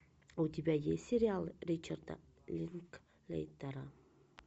у тебя есть сериал ричарда линклейтера